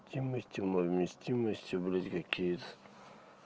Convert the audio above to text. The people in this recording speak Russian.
тема стеной вместимостью близко киев